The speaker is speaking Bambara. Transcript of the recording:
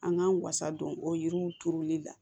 An k'an wasa don o yiriw turuli la